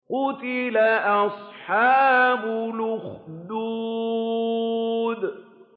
قُتِلَ أَصْحَابُ الْأُخْدُودِ